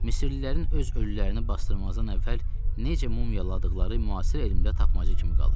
Misirlilərin öz ölülərini basdırmazdan əvvəl necə mumyaladıqları müasir elmdə tapmaca kimi qalır.